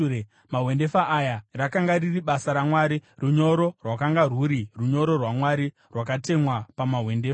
Mahwendefa aya rakanga riri basa raMwari; runyoro rwakanga rwuri runyoro rwaMwari, rwakatemwa pamahwendefa.